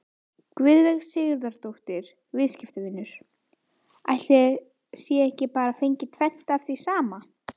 Guðveig Sigurðardóttir, viðskiptavinur: Ætli það sé ekki bara fengið tvennt af því sama?